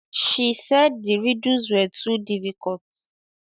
She said the riddles were too diffuicult